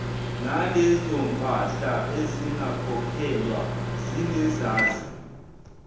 nalezompahla ezingakhokhelwa zinezaze